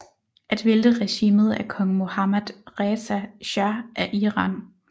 At vælte regimet af kong Mohammad Reza shah af Iran